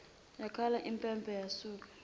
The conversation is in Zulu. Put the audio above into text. yakhala impempe lasuka